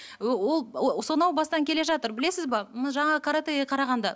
ы ол сонау бастан келе жатыр білесіз бе м жаңағы каратэға қарағанда